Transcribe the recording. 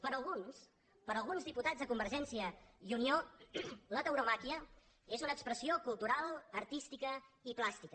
per alguns per alguns diputats de convergència i unió la tauromàquia és una expressió cultural artística i plàstica